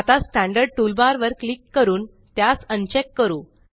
आता standard toolbar वर click करून त्यास अनचेक करू